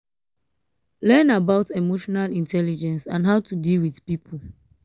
learn about emotional intelligence and how to deal with pipo